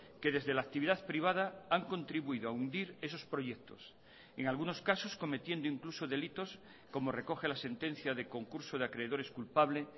que desde la actividad privada han contribuido a hundir esos proyectos en algunos casos cometiendo incluso delitos como recoge la sentencia de concurso de acreedores culpable